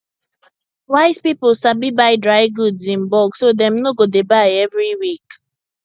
wise people sabi buy dry goods in bulk so dem no go dey buy every week